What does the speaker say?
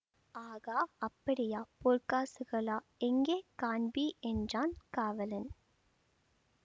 ஆகா அப்படியா பொற்காசுகளா எங்கே காண்பி என்றான் காவலன்